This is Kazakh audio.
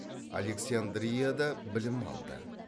александрияда білім алды